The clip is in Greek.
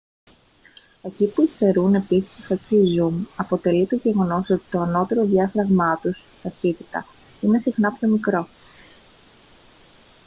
εκεί που υστερούν επίσης οι φακοί zoom αποτελεί το γεγονός ότι το ανώτερο διάφραγμά τους ταχύτητα είναι συχνά πιο μικρό